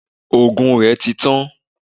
òògùn rẹ tí tan